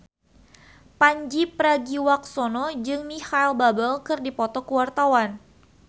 Pandji Pragiwaksono jeung Micheal Bubble keur dipoto ku wartawan